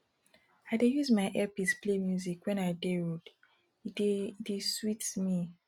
i dey use my earpiece play music wen i dey road e dey e dey sweet me